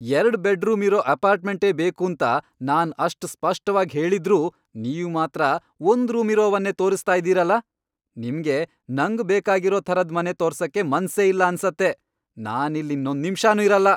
ಎರ್ಡ್ ಬೆಡ್ ರೂಮಿರೋ ಅಪಾರ್ಟ್ಮೆಂಟೇ ಬೇಕೂಂತ ನಾನ್ ಅಷ್ಟ್ ಸ್ಪಷ್ಟವಾಗ್ ಹೇಳಿದ್ರೂ ನೀವ್ ಮಾತ್ರ ಒಂದ್ ರೂಮಿರೋವನ್ನೇ ತೋರ್ಸ್ತಾ ಇದೀರಲ! ನಿಮ್ಗೆ ನಂಗ್ ಬೇಕಾಗಿರೋ ಥರದ್ ಮನೆ ತೋರ್ಸಕ್ಕೆ ಮನ್ಸೇ ಇಲ್ಲ ಅನ್ಸತ್ತೆ, ನಾನ್ ಇಲ್ಲ್ ಇನ್ನೊಂದ್ ನಿಮ್ಷನೂ ಇರಲ್ಲ.